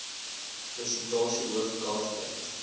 persentasie hoof kalftyd